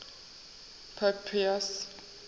pope pius